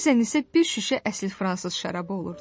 Bəzən isə bir şüşə əsl fransız şərabı olurdu.